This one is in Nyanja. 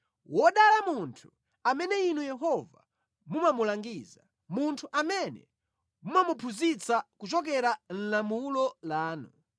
Wodala munthu amene Inu Yehova mumamulangiza, munthu amene mumamuphunzitsa kuchokera mulamulo lanu;